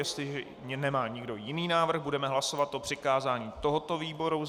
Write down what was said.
Jestli nemá nikdo jiný návrh, budeme hlasovat o přikázání tomuto výboru.